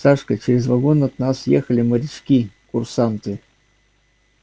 сашка через вагон от нас ехали морячки курсанты